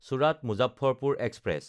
চোৰাত–মুজাফ্ফৰপুৰ express